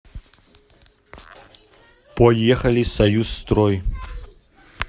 поехали союз строй